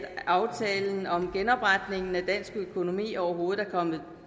aftalen om genopretningen af dansk økonomi overhovedet er kommet